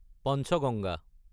Panchganga